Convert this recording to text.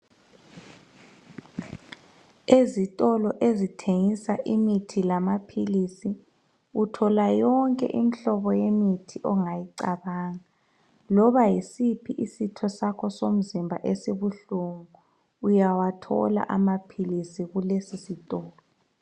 Ezitolo ezithengisa imithi lamaphilisi uthola yonke imhlobo yemithi ongayicabanga loba yisiphi isitho somzimba esibuhlungu uyawathola amaphilisi kulesisitolo.